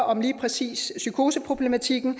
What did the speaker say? om lige præcis psykoseproblematikken